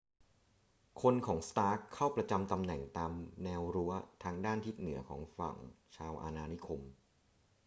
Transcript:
คนของ stark เข้าประจำตำแหน่งตามแนวรั้วทางด้านทิศเหนือของฝั่งชาวอาณานิคม